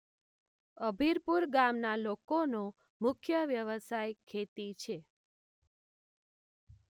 અભીરપુર ગામના લોકોનો મુખ્ય વ્યવસાય ખેતી છે.